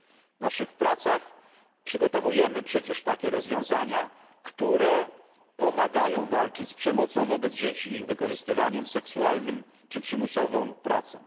W naszych pracach przygotowujemy przecież takie rozwiązania, które pomagają walczyć z przemocą wobec dzieci, ich wykorzystywaniem seksualnym czy przymusową pracą.